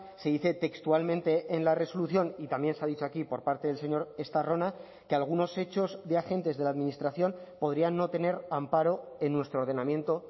se dice textualmente en la resolución y también se ha dicho aquí por parte del señor estarrona que algunos hechos de agentes de la administración podrían no tener amparo en nuestro ordenamiento